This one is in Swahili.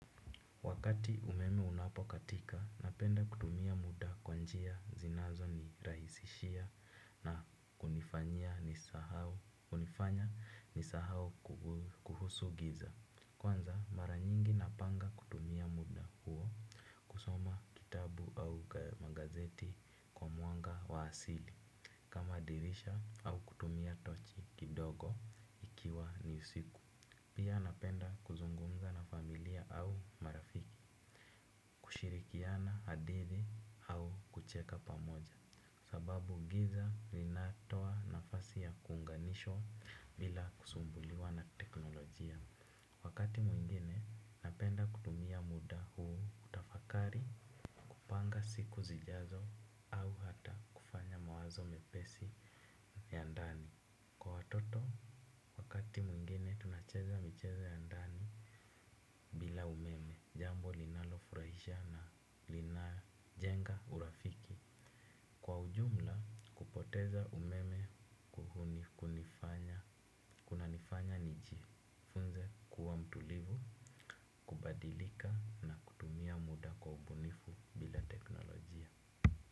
Wakati umeme unapokatika, napenda kutumia muda kwa njia zinazo nirahisishia na kunifanya nisahau kuhusu giza. Kwanza, mara nyingi napanga kutumia muda huo. Kusoma kitabu au gazeti kwa mwanga wa asili kama dirisha ama kutumia tochi kidogo ikiwa ni usiku pia napenda kuzungumza na familia au marafiki. Kushirikiana na hadhira au kucheka pamoja sababu giza linatoa nafasi ya kuunganishwa bila kusumbuliwa na teknolojia wakati mwingine napenda kutumia muda huu kutafakari kupanga siku zijazo au hata kufanya mawazo mepesi ya ndani kwa watoto wakati mwingine tunacheza michezo ya ndani bila umeme, jambo linalofurahisha na linajenga urafiki. Kwa ujumla, kupoteza umeme unanifanya nijifunze kuwa mtulivu kubadilika, na kutumia muda kwa ubunifu bila teknolojia.